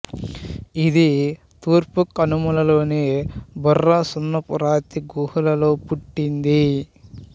ఇది తూర్పు కనుమలలోని బొర్రా సున్నపు రాతి గుహలలో పుట్టింది